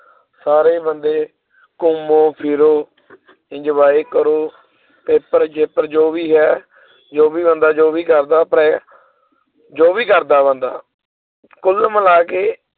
ਸਾਰੇ ਬੰਦੇ ਘੁੰਮੋ ਫਿਰੋ enjoy ਕਰੋ ਪੇਪਰ ਜੇਪਰ ਜੋ ਵੀ ਹੈ ਜੋ ਵੀ ਬੰਦਾ ਜੋ ਵੀ ਕਰਦਾ ਪਿਆ ਜੋ ਵੀ ਕਰਦਾ ਬੰਦਾ ਕੁੱਲ ਮਿਲਾ ਕੇ